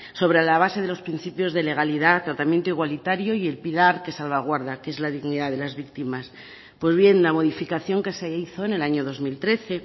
sobre la base de los principios de legalidad tratamiento igualitario y el pilar que salvaguarda que es la dignidad de las víctimas pues bien la modificación que se hizo en el año dos mil trece